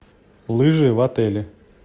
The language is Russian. лыжи в отеле